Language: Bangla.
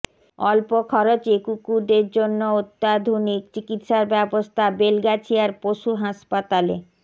অল্প খরচে কুকুরদের জন্য অত্যাধুনিক চিকিত্সার ব্যবস্থা বেলগাছিয়ার পশু হাসপাতালে